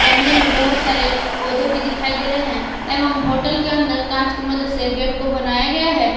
गमले में बहोत सारे पौधे भी दिखाई दे रहे हैं एवं होटल के अंदर कांच की मदद से गेट को बनाया गया है।